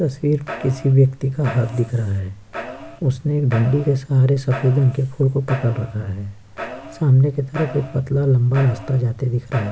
तस्वीर में किसी व्यक्ति का हाथ दिख रहा है उसने एक डंडी के सहारे सफेद रंग के फूल को पकड़ रखा है। सामने की तरफ एक पतला लम्बा रास्ता जाते दिख रहा है।